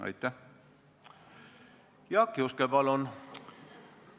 Jaak Juske, palun!